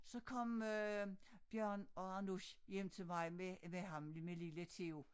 Så kom øh Bjørn og Anush hjem til mig med med ham med lille Theo